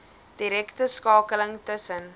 direkte skakeling tussen